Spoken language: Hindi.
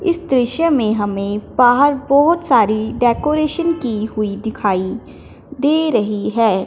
इस दृश्य में हमें बाहर बहोत सारी डेकोरेशन की हुई दिखाई दे रही है।